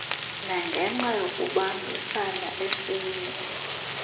nangenxa yokubambisana esiye